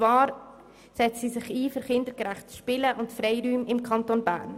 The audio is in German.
Sie setzt sich ein für kindergerechtes Spielen und Freiräume im Kanton Bern.